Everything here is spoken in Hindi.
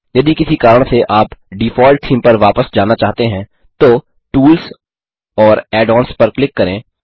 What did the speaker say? यदि किसी कारण से आप डिफ़ॉल्ट थीम पर वापस जाना चाहते हैं तो टूल्स और add ओन्स पर क्लिक करें